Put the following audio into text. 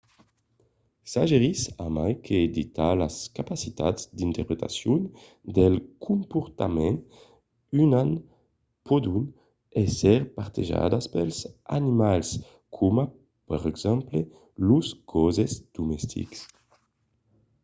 suggerís a mai que de talas capacitats d’interpretacion del comportament uman pòdon èsser partejadas pels animals coma per exemple los gosses domestics